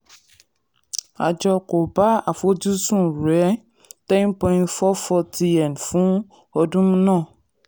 àjọ kò bá àfojúsùn rẹ̀ ten point four four tn fún ọdún fún ọdún náà.